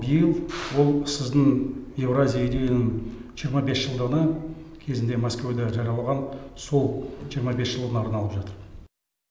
биыл ол сіздің еуразия идеяның жиырма бес жылдығына кезінде мәскеуде жаралған сол жиырма бес жылына арналып жатыр